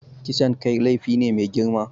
Kisan kai laifi ne mai girma.